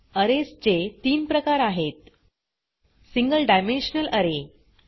arrays चे तीन प्रकार आहेत सिंगल डायमेन्शनल अरे